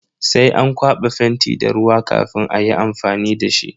Sai an kwaba fenti da ruwa kafin ayi amfani dashi.